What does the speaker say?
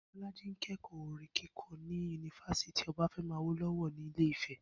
Bó̩lájí ń ké̩kò̩ó̩ orin kíko̩ ní yunifásítì O̩báfé̩mi Awóló̩wó̩ ní Ilé Ifè̩